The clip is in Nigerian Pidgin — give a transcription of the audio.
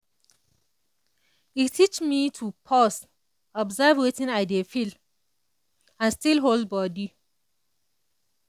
e teach me to pause observe wetin i dey feel and still hold body.